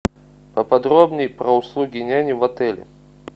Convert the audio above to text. поподробней про услуги няни в отеле